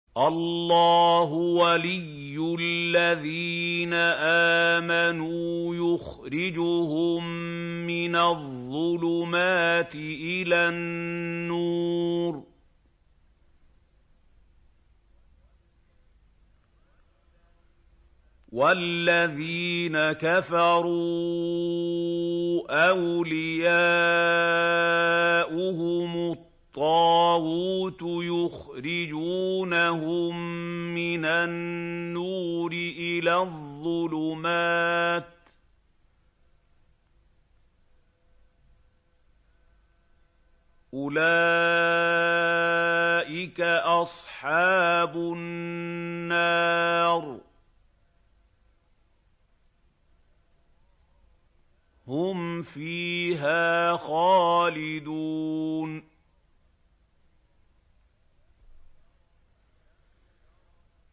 اللَّهُ وَلِيُّ الَّذِينَ آمَنُوا يُخْرِجُهُم مِّنَ الظُّلُمَاتِ إِلَى النُّورِ ۖ وَالَّذِينَ كَفَرُوا أَوْلِيَاؤُهُمُ الطَّاغُوتُ يُخْرِجُونَهُم مِّنَ النُّورِ إِلَى الظُّلُمَاتِ ۗ أُولَٰئِكَ أَصْحَابُ النَّارِ ۖ هُمْ فِيهَا خَالِدُونَ